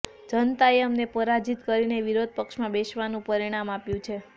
જનતાએ અમને પરાજિત કરીને વિરોધ પક્ષમાં બેસવાનું પરિણામ આપ્યું છે